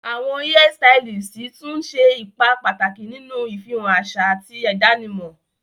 Awọn hairstylists tun le ṣe ipa pataki ninu ifihan aṣa ati idanimọ.